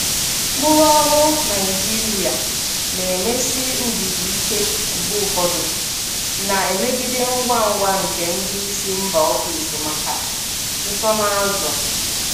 Ụkpụrụ ọrụ Naijiria na-emesi ndidi ike mgbe ụfọdụ, na-emegide ngwa ngwa nke ndị isi mba ofesi maka nsonaazụ.